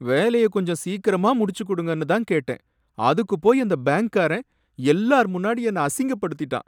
வேலைய கொஞ்சம் சீக்கரமா முடிச்சி கொடுங்கனு தான் கேட்டேன் அதுக்கு போய் அந்த பேங்க்காரன் எல்லார் முன்னாடியும் என்ன அசிங்கப்படுத்திட்டான்